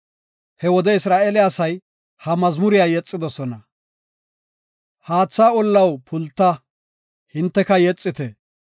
He wode Isra7eele asay ha mazmuriya yexidosona. “Haatha ollaw, pulta; Hinteka yexite.